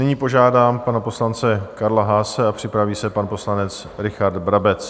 Nyní požádám pana poslance Karla Haase a připraví se pan poslanec Richard Brabec.